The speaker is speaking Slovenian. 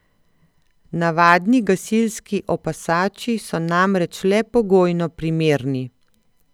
Navadni gasilski opasači so namreč le pogojno primerni.